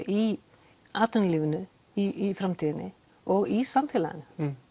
í atvinnulífinu í framtíðinni og í samfélaginu